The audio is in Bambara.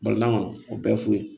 Baliman o bɛɛ ye fu ye